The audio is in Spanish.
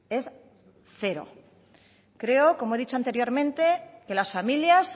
es cero creo como he dicho anteriormente que las familias